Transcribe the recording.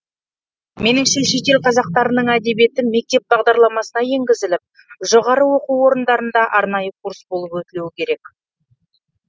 меніңше шетел қазақтарының әдебиеті мектеп бағдарламасына енгізіліп жоғарғы оқу орындарында арнайы курс болып өтілуі керек